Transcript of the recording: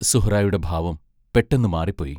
സുഹ്റായുടെ ഭാവം പെട്ടെന്നു മാറിപ്പോയി.